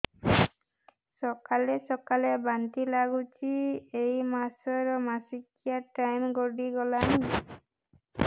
ସକାଳେ ସକାଳେ ବାନ୍ତି ଲାଗୁଚି ଏଇ ମାସ ର ମାସିକିଆ ଟାଇମ ଗଡ଼ି ଗଲାଣି